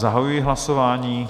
Zahajuji hlasování.